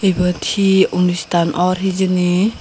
ibet he onusthan ot hijeni.